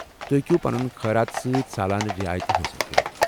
تُہۍ ہیٚکو پنُن خٲراتہٕ سۭتۍ سالانہٕ رعایت تہِ حٲصِل کٔرِتھ ۔